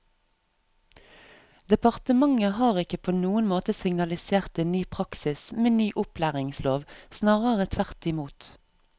Departementet har ikke på noen måte signalisert en ny praksis med ny opplæringslov, snarere tvert imot.